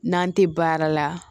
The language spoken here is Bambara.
N'an tɛ baara la